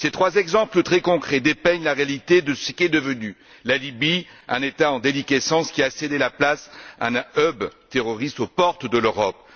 Ces trois exemples très concrets dépeignent la réalité de ce qu'est devenue la Libye, un État en déliquescence, qui a cédé la place à un hub terroriste aux portes de l'Europe.